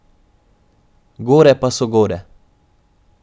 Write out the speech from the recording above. Gore pa so gore.